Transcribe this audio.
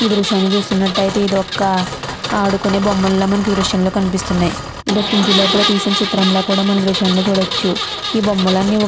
ఈ దృశ్యాన్ని చూస్తున్నట్టయితే ఇది ఒక ఆడుకునే బొమ్మలు లాగా మనకి ఈ దృశ్యంలో కనిపిస్తున్నాయ్. ఇది ఒక ఇంటి లోపల తీసిన చిత్రంలా కూడా మనం ఈ దృశ్యంలో చూడొచ్చు. ఈ బొమ్మలని --